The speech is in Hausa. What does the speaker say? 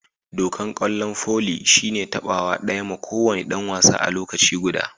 Dokan kwallon foli shine tabawa daya ma ko wani dan wasa a lokaci guda.